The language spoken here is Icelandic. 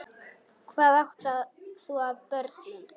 Hvað átt þú af börnum?